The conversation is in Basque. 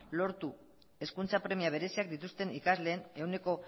lortu hezkuntza premia bereziak dituzten ikasleen ehuneko